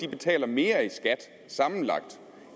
betaler mere i skat sammenlagt